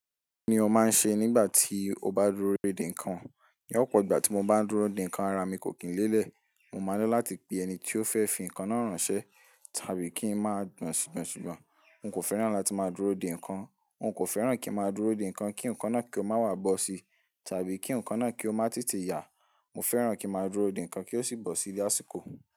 Kí ni o máa ń ṣe nígbà tí o bá dúró dè nǹkan? Ni, opọ̀ igbà tí mo bá ń dúró dè nǹkan, ara mi kò kín lélẹ̀. Mo máa ńi láti pe ẹni tí ó fẹ́ fi nǹkan náà ránṣẹ́ tàbí kí ń má gbọ̀nsùgbọ̀nsù. N kò fẹ́ràn láti máa dúró dè nǹkan. N kò fẹ́ràn kí n máa dúró dè nǹkan kí nǹkan náà kí ó má wá bọ́ sí tàbí kí nǹkan náà kí ó má tètè yà. Mo fẹ́ràn kí n máa dúró dè nǹkan kí ó sì bọ́ sí lásìkò.